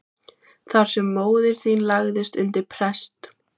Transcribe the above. Þar sem móðir þín lagðist undir prest.